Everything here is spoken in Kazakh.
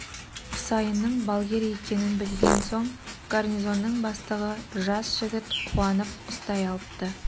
құсайынның балгер екенін білген соң гарнизонның бастығы жас жігіт қуанып ұстай алыпты